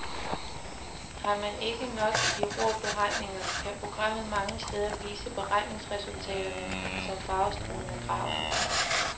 Har man ikke nok i de rå beregninger, kan programmet mange steder vise beregningsresultaterne som farvestrålende grafer.